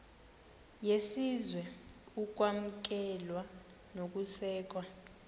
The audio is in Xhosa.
yesizwe ukwamkelwa nokusekwa